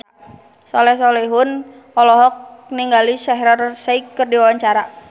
Soleh Solihun olohok ningali Shaheer Sheikh keur diwawancara